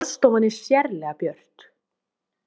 Borðstofan er sérlega björt